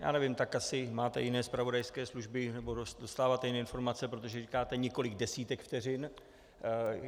Já nevím, tak asi máte jiné zpravodajské služby nebo dostáváte jiné informace, protože říkáte několik desítek vteřin.